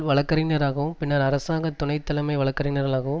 வழக்கறிஞராகவும் பின்னர் அரசாங்கத்துணை தலைமை வழக்கறிஞராகவும்